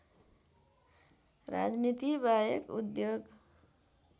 राजनीति बाहेक उद्योग